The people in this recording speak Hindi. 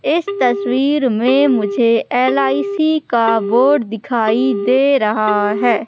इस तस्वीर में मुझे एल_आई_सी का बोर्ड दिखाई दे रहा हैं।